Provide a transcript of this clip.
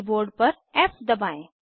keyboard पर F दबाएं